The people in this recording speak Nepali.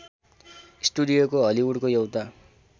स्टुडियोको हलिवुडको एउटा